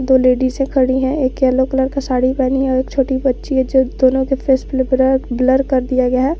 दो लेडिसे खड़ी है एक येलो कलर का साड़ी पहनी और एक छोटी बच्ची है जो दोनों के फेस बल ब्लर कर दिया गया है।